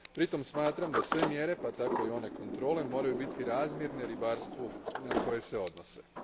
Pritom smatram da sve mjere, pa tako i one kontrole, moraju biti razmjerene ribarstvu na koje se odnose.